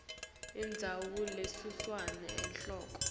indzawo lesuselwa enhloko